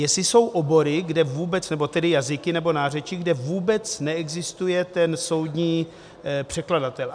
Jestli jsou obory, kde vůbec, nebo tedy jazyky nebo nářečí, kde vůbec neexistuje ten soudní překladatel.